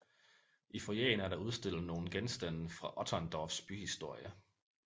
I foyeren er der udstillet nogle genstande fra Otterndorfs byhistorie